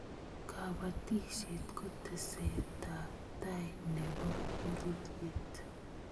kabatisiet kotesee teset ab tai ne pororiet